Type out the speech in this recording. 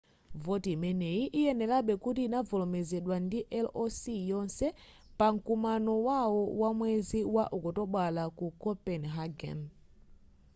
voti imeneyi iyenerabe kuti ikavomerezedwe ndi ioc yonse pa mkumano wawo wa mwezi wa okutobala ku copenhagen